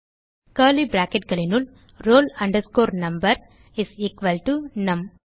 curly bracketகளினுள் roll number is equal to நும்